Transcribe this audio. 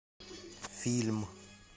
фильм